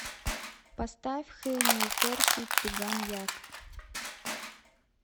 поставь хэнию фэрхи туган як